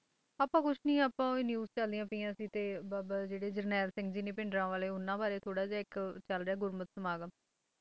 ਆਪਾਂ ਕੁਝ ਨਹੀਂ ਆਪਾਂ ਓਹੀ News ਚੱਲਦੀਆਂ ਪਈਆਂ ਸੀ ਤੇ ਬਾਬਾ ਜਿਹੜੇ ਜਰਨੈਲ ਸਿੰਘ ਜੀ ਨੇ ਭਿੰਡਰਾਂਵਾਲੇ ਉਨ੍ਹਾਂ ਬਾਰੇ ਥੋੜਾ ਜਿਹਾ ਇੱਕ ਚੱਲ ਰਿਹਾ ਗੁਰਮਤਿ ਸਮਾਗਮ